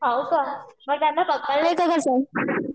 हो का मग त्यांना पकडले ते कसं?